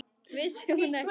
Vissi hún ekki?